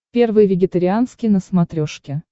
первый вегетарианский на смотрешке